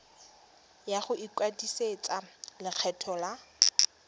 ya go ikwadisetsa lekgetho la